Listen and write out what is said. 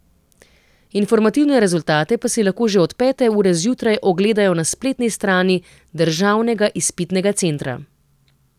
Informativne rezultate pa si lahko že od pete ure zjutraj ogledajo na spletni strani Državnega izpitnega centra.